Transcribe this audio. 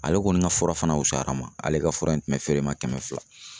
Ale kɔni ka fura fana wusura n ma ale ka fura in tun bɛ feere ma kɛmɛ fila.